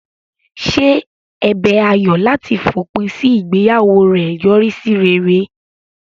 Ṣé ẹ̀bẹ̀ Ayọ̀ láti fòpin sí ìgbéyàwó rẹ̀ yọrí sí rere?